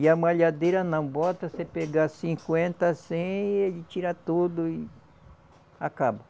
E a malhadeira não bota, você pega cinquenta, cem e ele tira tudo e acaba.